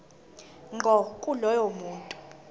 ngqo kulowo muntu